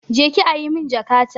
Je ki ajiye min jakata!